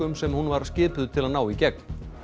sem hún var skipuð til að ná í gegn